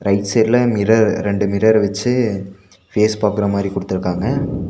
Right சைடுல mirror ரெண்டு mirror வெச்சு ஃபேஸ் பாக்கற மாரி குடுத்துருக்காங்க.